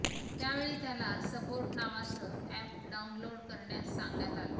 त्यावेळी त्याला सपोर्ट नावाचं अॅप डाऊनलोड करण्यास सांगण्यात आलं